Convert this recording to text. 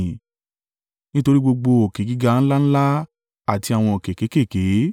nítorí gbogbo òkè gíga ńlá ńlá àti àwọn òkè kéékèèké,